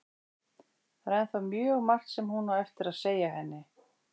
Það er ennþá mjög margt sem hún á eftir að segja henni.